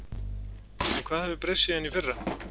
En hvað hefur breyst síðan í fyrra?